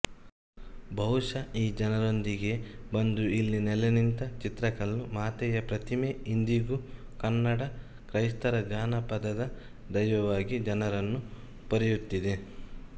ಬಹುಶಃ ಈ ಜನರೊಂದಿಗೇ ಬಂದು ಇಲ್ಲಿ ನೆಲೆನಿಂತ ಚಿತ್ರಕಲ್ಲುಮಾತೆಯ ಪ್ರತಿಮೆ ಇಂದಿಗೂ ಕನ್ನಡ ಕ್ರೈಸ್ತರ ಜಾನಪದ ದೈವವಾಗಿ ಜನರನ್ನು ಪೊರೆಯುತ್ತಿದೆ